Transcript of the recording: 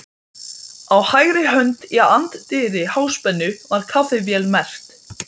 Á hægri hönd í anddyri Háspennu var kaffivél merkt